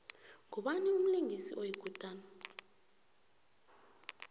ngubani umlingisi oyikutani